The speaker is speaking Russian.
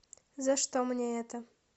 за что мне это